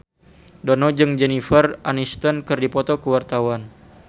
Dono jeung Jennifer Aniston keur dipoto ku wartawan